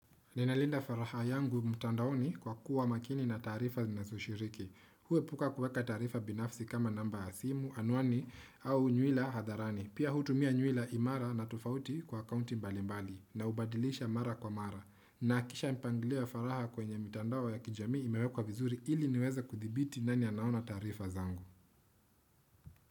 Ninalinda faraha yangu mtandaoni kwa kuwa makini na tarifa nina soshiriki. Huwe puka kuweka tarifa binafsi kama namba ya simu, anwani au nywila hadharani. Pia hutumia nywila imara na tufauti kwa akaunti mbalimbali na ubadilisha mara kwa mara. Nakisha mpanglio faraha kwenye mtandao ya kijami imewekwa vizuri ili niweza kuthibiti nani anaona tarifa zangu.